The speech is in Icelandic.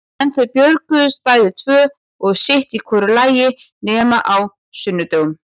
En þau björguðust bæði tvö og sitt í hvoru lagi nema á sunnudögum.